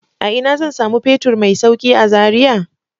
A ina zan samu fetur mai sauƙi a Zaria?